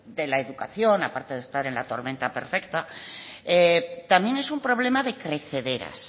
de la educación aparte de estar en la tormenta perfecta también es un problema de crecederas